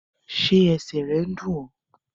Ṣé ẹsẹ̀ rẹ̀ ń dún ọ?